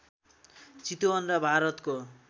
चितवन र भारतको